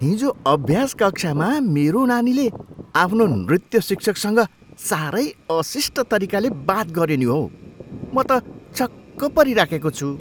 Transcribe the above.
हिजो अभ्यास कक्षामा मेरो नानीले आफ्नो नृत्य शिक्षकसँग साह्रै अशिष्ट तरिकाले बात गऱ्यो नि हौ। म त छक्क परिराखेको छु।